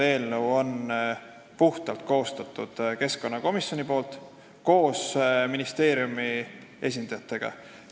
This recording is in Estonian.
Eelnõu on koostatud puhtalt keskkonnakomisjonis koos ministeeriumi esindajatega.